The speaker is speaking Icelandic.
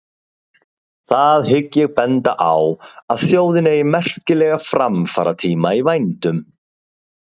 Það hygg ég benda á, að þjóðin eigi merkilega framfaratíma í vændum.